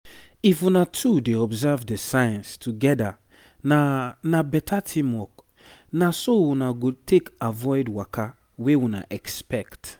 if una two dey observe the signs together na na better teamwork na so una go take avoid waka wey una expect